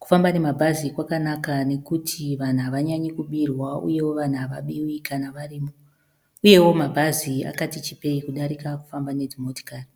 Kufamba nemabhazi kwakanaka nekuti vanhu hanyanyi kubirwa uyewo vanhu havabiwi kana varimo. Uyewo mabhazi kwakatichipeyi kudarika kufamba nedzimotokari.